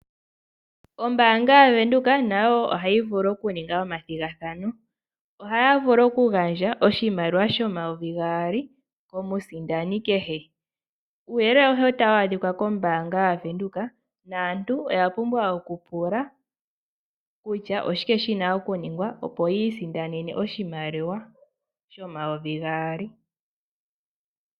Ombaanga yaVenduka nayo ohayi vulu okuninga omathigathano ohaya vulu okugadja oshimaliwa shomayovi gaali komusindani kehe uuyelele awuhe otawu adhika kombaanga yaVenduka naantu oya pumbwa oku pula kutya oshike shina okuningwa opo yi isindanene oshimaliwa shomayovi gaali.